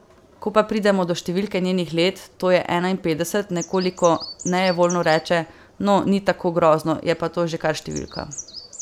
Ko pa pridemo do številke njenih let, to je enainpetdeset, nekoliko nejevoljno reče: 'No, ni tako grozno, je pa to že kar številka.